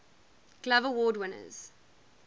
glove award winners